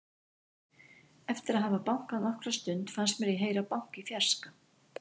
Eftir að hafa bankað nokkra stund fannst mér ég heyra bank í fjarska.